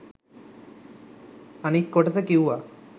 අනිත් කොටස කිව්වා